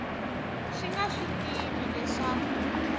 xi nga swi tivi leswaku